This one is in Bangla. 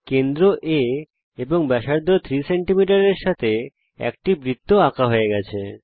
কেন্দ্র A এবং ব্যাসার্ধ 3 সেমি এর সঙ্গে একটি বৃত্ত আঁকা হয়ে গেছে